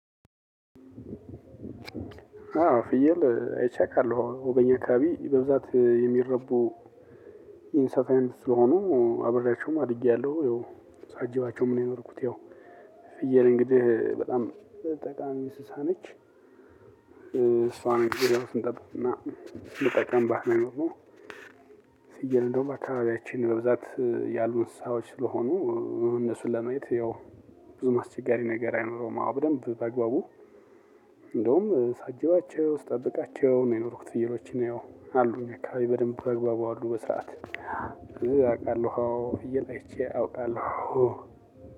አዎ ፍየል አይቼ አውቃለ በኛ አካባቢ በብዛት የሚራቡ እንስሳ አይነት ስለሆኑ አብሬያቸውም አድጌያለው ሳጅባቸውም ነው የኖርኩት። ያው ፍየል እንግዲህ በጣም ጠቃሚ እንስሳ ነች። እሷን እንግዲህ አሁን ስንጠጥቅ እና ስንጠቅምባት ነው የኖርነው። ፍየል እንደውም አካባቢያችን በብዛት ያሉ እንስሳዎች ስለሆኑ እነሱን ለማየት ያው ብዙም አስቸጋሪ ነገር አይኖረውም። በደንብ በግባቡ እንደውም ሳጅባቸው ስጠብቃቸው ነው የኖርኩት። ፍዮልችን ያው አሉ እኛ አካባቢ በደንብ በአግባቡ አሉ በሰአት ፍየል አውቃለው። አይቼ አውቃለው